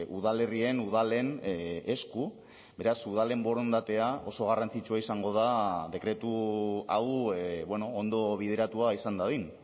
udalerrien udalen esku beraz udalen borondatea oso garrantzitsua izango da dekretu hau ondo bideratua izan dadin